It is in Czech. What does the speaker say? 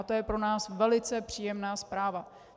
A to je pro nás velice příjemná zpráva.